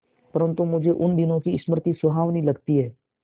परंतु मुझे उन दिनों की स्मृति सुहावनी लगती है